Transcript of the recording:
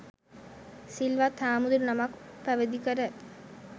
සිල්වත් හාමුදුරු නමක් උපැවිදිකර